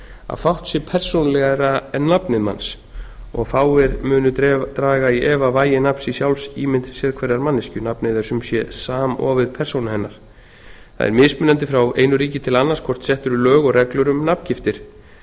að fátt sé persónulegra en nafnið manns og fáir munu draga í efa vægi nafns í sjálfsímynd sérhverrar manneskju nafnið er sumsé samofið persónu hennar það er mismunandi frá einu ríki til annars hvort sett eru lög og reglur um nafngiftir